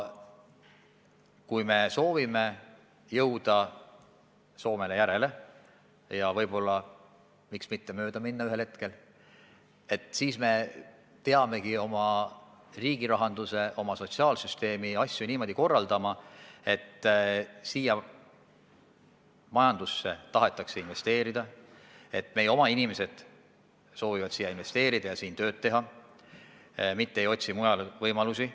Kui me soovime jõuda Soomele järele ja miks mitte ühel hetkel Soomest mööda minna, siis me peame oma riigirahanduse, oma sotsiaalsüsteemi niimoodi korraldama, et Eesti majandusse tahetakse investeerida, et meie oma inimesed soovivad kodumaal investeerida ja siin tööd teha, mitte ei otsi mujalt võimalusi.